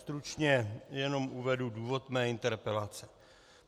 Stručně jenom uvedu důvod své interpelace.